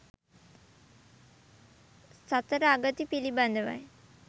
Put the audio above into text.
සතර අගති පිළිබඳවයි